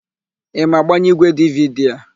Ị ma agbanye ígwèdividi a?